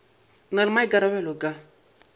a na le maikarabelo ka